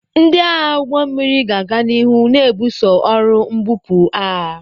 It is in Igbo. Ndị agha ụgbọ mmiri ga-aga n'ihu na-ebuso ọrụ mbupu agha.